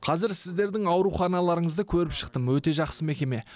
қазір сіздердің ауруханаларыңызды көріп шықтым өте жақсы мекеме